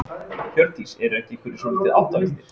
Hjördís: Eru ekki einhverjir svolítið áttavilltir?